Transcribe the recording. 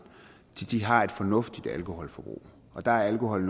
har et fornuftigt alkoholforbrug og der er alkohol